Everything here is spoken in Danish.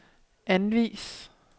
anvis